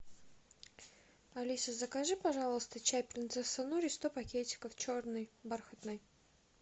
алиса закажи пожалуйста чай принцесса нури сто пакетиков черный бархатный